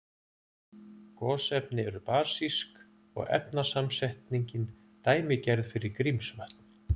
Gosefni eru basísk og efnasamsetningin dæmigerð fyrir Grímsvötn.